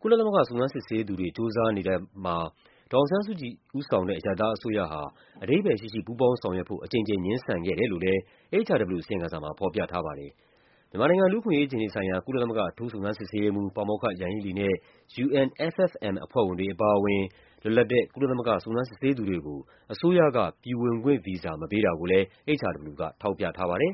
ကုလသမဂ္ဂ စုံစမ်းစစ်ဆေးသူတွေ ကြိုးစားနေတဲ့ အပေါ်မှာ ဒေါ်အောင်ဆန်းစုကြည် ဦးဆောင်တဲ့ အရပ်သားအစိုးရဟာ အဓိပ္ပါယ်ရှိရှိ ပူးပေါင်းဆောင်ရွက်ဖို့ အကြိမ်ကြိမ် ငြင်းဆန်ခဲ့တယ်လို့ HRW အစီရင်ခံစာမှာ ဖော်ပြထားပါတယ်။ မြန်မာနိုင်ငံ လူ့အခွင့်အရေးအခြေအနေဆိုင်ရာ ကုလသမဂ္ဂ အထူးစုံစမ်းစစ်ဆေးရေးမှူး ပါမောက္ခ ယန်ဟီးလီနဲ့ UNFFM အဖွဲ့ဝင်တွေအပါအဝင် လွတ်လပ်တဲ့ကုလသမဂ္ဂ စုံစမ်းစစ်ဆေးသူတွေကို အစိုးရက ပြည်ဝင်ခွင့်ဗီဇာ မပေးတာကိုလည်း HRW က ထောက်ပြထားပါတယ်